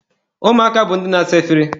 Ụmụaka bụ ndị na-asa efere.